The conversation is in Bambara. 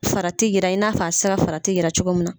Farati yira i n'a fɔ a be se ka farati yira cogo mun na.